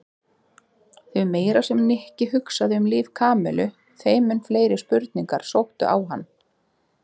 Því meira sem Nikki hugsaði um líf Kamillu þeim mun fleiri spurningar sóttu á hann.